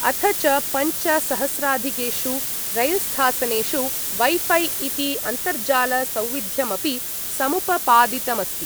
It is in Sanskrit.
अथ च पञ्च सहस्राधिकेषु रैल्स्थासनेषु वैफै इति अन्तर्जालसौविध्यमपि समुपपादितमस्ति।